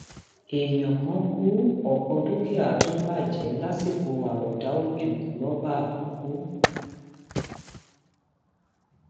èèyàn kan ku ọpọ dúkìá tún bàjẹ lásìkò àròọdá ọjọ lọba àkókò